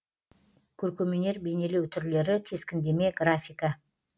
көркемөнер бейнелеу түрлері кескіндеме графика